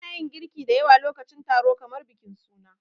Ana yin girki da yawa lokacin taro kamar bikin suna.